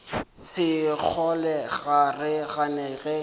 sekgole ga re gane ge